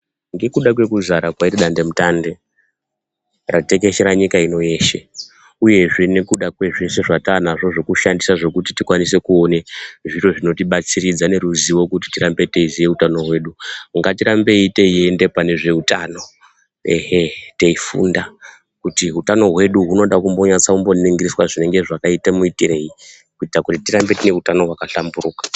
Ngekuda kwe kuzvara kwaro dandemutande ratekeshera nyika ino yeshe uye zve nekuda kwezvese zvatanazvo zvokushandisa zvokuti tikwanise kuone zviro zvinotibatsiridza neruzivo kuti tirambe teiziye utano hwedu ngatirambei teienda panezve utano ,ehee!teifunda kuti utano hwedu hunoda kumbonyatso ningiriswa zvinenge zvakaite muitireyi kuitira kuti tirambe tine utano hwakahlamburuka.